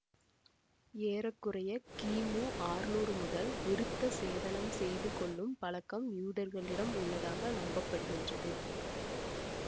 ஏற குறைய கிமு ஆர்நூறு முதல் விருத்த சேதனம் செய்து கொள்ளும் பழக்கம் யூதர்களிடம் உள்ளதாக நம்பப்படுகின்றது